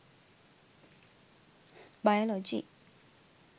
biology